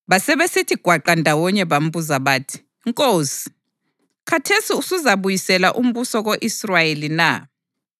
Basebesithi gwaqa ndawonye bambuza bathi, “Nkosi, khathesi usuzabuyisela umbuso ko-Israyeli na?”